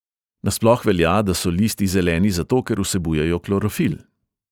Nasploh velja, da so listi zeleni zato, ker vsebujejo klorofil.